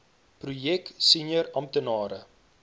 projek senior amptenare